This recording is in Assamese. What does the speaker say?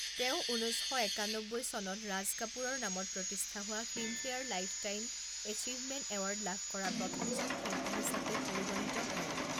তেওঁ ঊনৈছ শ একান্নব্বৈ চনত ৰাজ কাপুৰৰ নামত প্ৰতিষ্ঠা হোৱা ফিল্মফেয়াৰ লাইফটাইম এচিভমেণ্ট এৱাৰ্ড লাভ কৰা প্ৰথমজন শিল্পী হিচাপে পৰিগণিত হয়।